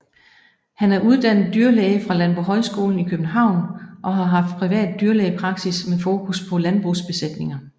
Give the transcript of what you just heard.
Han er uddannet dyrlæge fra Landbohøjskolen i København og har haft privat dyrlægepraksis med fokus på landbrugsbesætninger